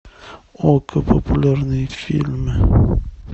окко популярные фильмы